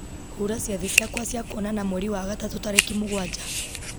hura ciathĩ ciakwa cia kwonana mweri wa gatatũ tarĩki mũgwanja